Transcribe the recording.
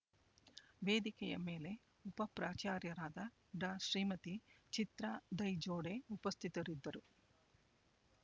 ವೇದಿಕೆಯ ಮೇಲೆ ಉಪಪ್ರಾಚಾರ್ಯರಾದ ಡಾಶ್ರೀಮತಿ ಚಿತ್ರಾ ದೈಜೋಡೆ ಉಪಸ್ಥಿತರಿದ್ದರು